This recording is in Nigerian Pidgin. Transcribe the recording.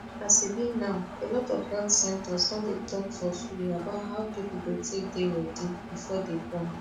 as e b now alot of health centers don dey talk for free about how people go take dey ready before dey born